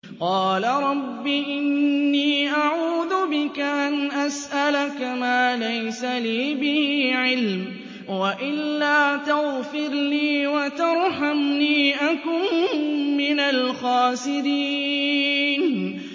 قَالَ رَبِّ إِنِّي أَعُوذُ بِكَ أَنْ أَسْأَلَكَ مَا لَيْسَ لِي بِهِ عِلْمٌ ۖ وَإِلَّا تَغْفِرْ لِي وَتَرْحَمْنِي أَكُن مِّنَ الْخَاسِرِينَ